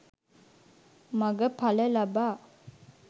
මඟ ඵල ලබා